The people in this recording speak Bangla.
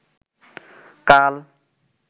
কাল